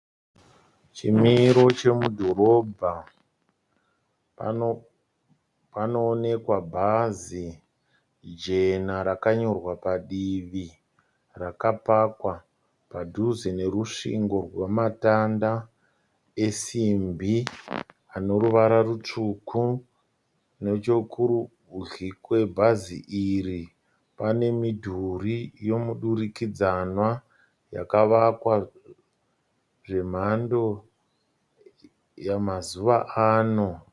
Chimiro chemudhorobha. Panoonekwa bhazi jena rakanyorwa padivi rakapakwa padhuze nerusvingo rwematanda esimbi ane ruvara rutsvuku. Nechekurudyi kwebhazi iri pane mudhuri wemudurikidzanwa yakavakwa zvemhando yemazuva ano.